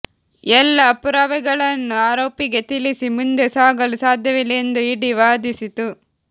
ಎಲ್ಲ ಪುರಾವೆಗಳನ್ನು ಆರೋಪಿಗೆ ತಿಳಿಸಿ ಮುಂದೆ ಸಾಗಲು ಸಾಧ್ಯವಿಲ್ಲ ಎಂದು ಇಡಿ ವಾದಿಸಿತು